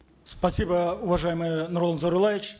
спасибо уважаемый нурлан зайроллаевич